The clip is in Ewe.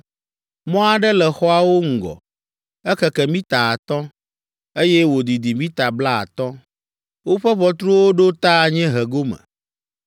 Mɔ aɖe le xɔawo ŋgɔ, ekeke mita atɔ̃, eye wòdidi mita blaatɔ̃. Woƒe ʋɔtruwo ɖo ta anyiehe gome.